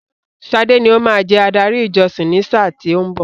Sade ní o máa jẹ adarí ìjọsìn ni sáà tí ó ń bọ̀.